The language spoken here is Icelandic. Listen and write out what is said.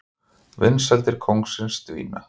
Vinsældir kóngsins dvína